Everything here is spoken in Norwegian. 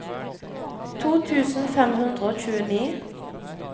to tusen fem hundre og tjueni